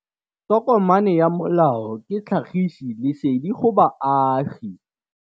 Tokomane ya molao ke tlhagisi lesedi go baagi.